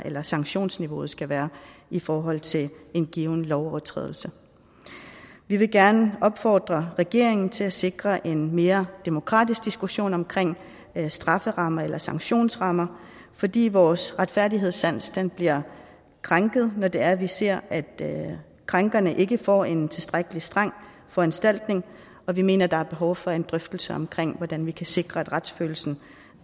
eller sanktionsniveauet skal være i forhold til en given lovovertrædelse vi vil gerne opfordre regeringen til at sikre en mere demokratisk diskussion omkring strafferammer eller sanktionsrammer fordi vores retfærdighedssans bliver krænket når det er vi ser at krænkerne ikke får en tilstrækkelig streng foranstaltning og vi mener der er behov for en drøftelse omkring hvordan vi kan sikre at retsfølelsen